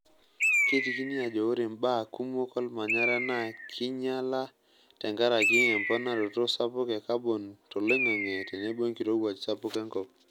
Keitekini ajo ore mbaa kumok olmanyara naa keinyala tenkaraki emponaroto sapuk e kabon toloing'ang'e tenebo enkirowuaj sapuk enkop.